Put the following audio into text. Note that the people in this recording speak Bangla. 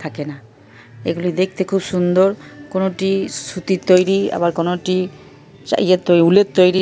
থাকে না এগুলো দেখতে খুব সুন্দর কোনোটি-ই সুতির তৈরি আবার কোনটি-ই চা ইয়ের তৈরি উলের তৈরি।